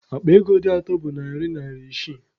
Akpa ego dị atọ bụ narị naira isii.